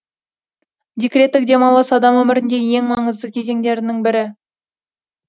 декреттік демалыс адам өміріндегі ең маңызды кезеңдерінің бірі